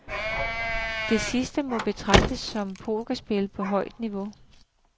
Det sidste må betegnes som pokerspil på højt niveau.